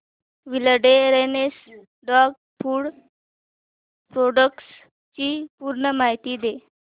wilderness dog food products ची पूर्ण माहिती दे